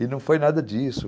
E não foi nada disso.